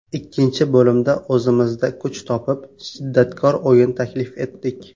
Ikkinchi bo‘limda o‘zimizda kuch topib, shiddatkor o‘yin taklif etdik.